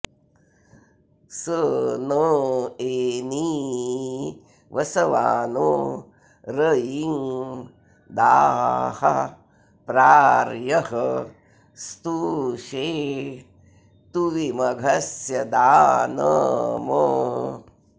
स न॒ एनीं॑ वसवानो र॒यिं दाः॒ प्रार्यः स्तु॑षे तुविम॒घस्य॒ दान॑म्